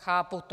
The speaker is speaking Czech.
Chápu to.